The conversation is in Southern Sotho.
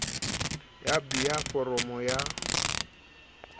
ya b ya foromo ya